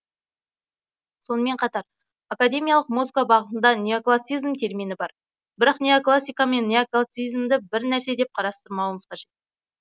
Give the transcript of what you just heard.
сонымен қатар академиялық музыка бағытында неоклассицизм термині бар бірақ неоклассика мен неоклассицизмді бір нәрсе деп қарастырмауымыз қажет